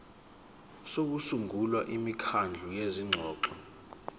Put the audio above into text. sokusungula imikhandlu yezingxoxo